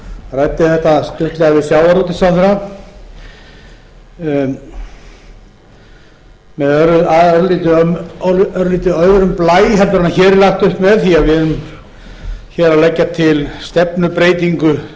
ræddi þetta lauslega við sjávarútvegsráðherra örlítið með öðrum blæ heldur en hér er lagt upp með því við erum að leggja til stefnubreytingu